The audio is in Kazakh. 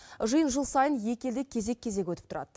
жиын жыл сайын екі елде кезек кезек өтіп тұрады